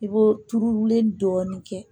I b'o turulen dɔɔnin kɛ